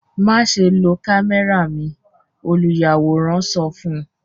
Maṣe lo kamẹra mi! oluyaworan sọ fun u